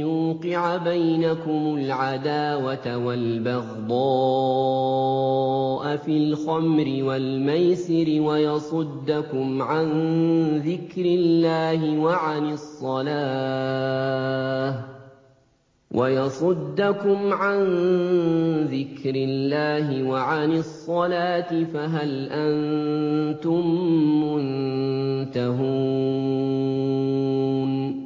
يُوقِعَ بَيْنَكُمُ الْعَدَاوَةَ وَالْبَغْضَاءَ فِي الْخَمْرِ وَالْمَيْسِرِ وَيَصُدَّكُمْ عَن ذِكْرِ اللَّهِ وَعَنِ الصَّلَاةِ ۖ فَهَلْ أَنتُم مُّنتَهُونَ